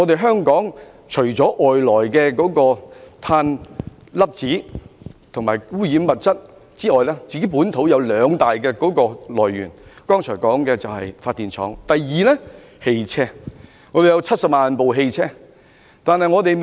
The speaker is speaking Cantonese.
香港除了外來的碳粒子及污染物質之外，本土的污染來源有兩大類別，包括剛才提過的發電廠，其次便是汽車。